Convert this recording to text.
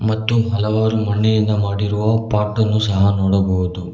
ಮತ್ತು ಹಲವಾರು ಮಣ್ಣಿನಿಂದ ಮಾಡಿರುವ ಪಾಟ್ ಅನ್ನು ಸಹ ನೋಡಬಹುದು.